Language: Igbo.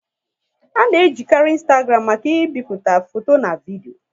A na e jikari Ịnstagram maka ị bipụta foto na vidio